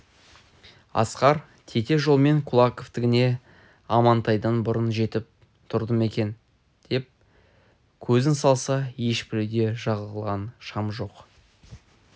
асқар тете жолмен кулаковтігіне амантайдан бұрын жетіп тұрды ма екен деп көзін салса ешбір үйде жағылған шам жоқ